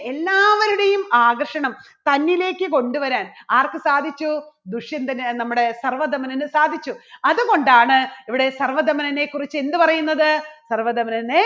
എല്ലാവരുടെയും ആകർഷണം തന്നിലേക്ക് കൊണ്ടുവരാൻ ആർക്ക് സാധിച്ചു? ദുഷ്യന്തന് നമ്മുടെ സർവ്വധമനന് സാധിച്ചു. അതുകൊണ്ടാണ് ഇവിടെ സർവ്വധമനനെക്കുറിച്ച് എന്ത് പറയുന്നത്? സർവ്വധമനനെ